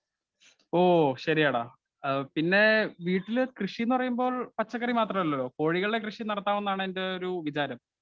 Speaker 1 ഓ ശരിയാടാ ആ പിന്നേ വീട്ടില് കൃഷിയെന്നുപറയുമ്പോൾ പച്ചക്കറി മാത്രമല്ലെയുള്ളു കോഴികളുടെ കൃഷി നടത്താമെന്നാണ് എന്റെ ഒരു വിചാരം.